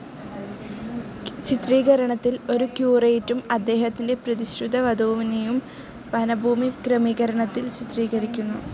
ചിത്രീകരണത്തിൽ ഒരു ക്യുറേറ്റും അദ്ദേഹത്തിൻ്റെ പ്രതിശ്രുതവധുവിനെയും വനഭൂമി ക്രമീകരണത്തിൽ ചിത്രീകരിക്കുന്നു.